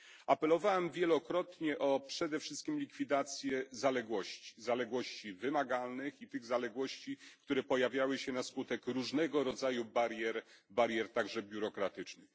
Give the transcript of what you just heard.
Apelowałem wielokrotnie o przede wszystkim likwidację zaległości zaległości wymagalnych i tych zaległości, które pojawiały się na skutek różnego rodzaju barier, także biurokratycznych.